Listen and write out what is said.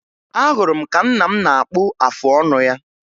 Ahụrụ m ka nna m na-akpụ afọ ọnụ ya